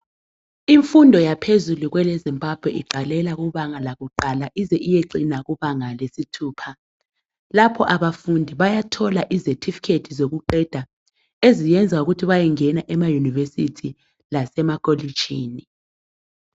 Imfundo yaphezulu kweleZimbabwe iqalela kubanga lakuqala ize iyecina kubanga lesithupha. Lapho abafundi bayathola izethifikhethi zokuqeda eziyenza ukuthi bayengena emayunivesithi lasemakolitshini.